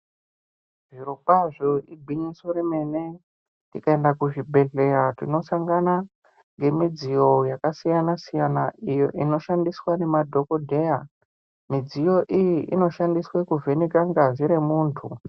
Zviro kwazvo igwinyiso remene tikaenda ku zvibhedhleya tino sangana nge midziyo yaka siyana siyana iyo ino shandiswa ne madhokodheya midziyo iyi ino shandiswe ku vheneka ngazi re muntu.